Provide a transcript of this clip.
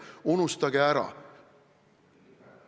Unustage ära!